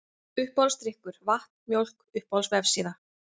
Uppáhaldsdrykkur: Vatn, Mjólk Uppáhalds vefsíða?